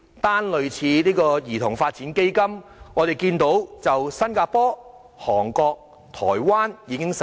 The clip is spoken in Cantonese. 單說類似兒童發展基金的措施，我們知道新加坡、韓國及台灣也已經實施。